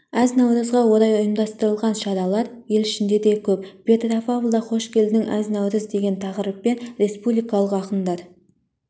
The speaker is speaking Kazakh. әз-наурызға орай ұйымдастырылған шаралар ел ішінде де көп петропавлда қош келдің әз-наурыз деген тақырыппен республикалық ақындар